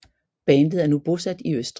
Bandet er nu bosat i Østrig